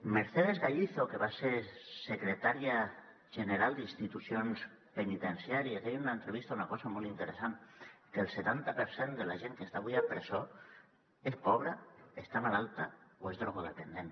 mercedes gallizo que va ser secretària general d’institucions penitenciàries deia en una entrevista una cosa molt interessant que el setanta per cent de la gent que està avui a presó és pobra està malalta o és drogodependent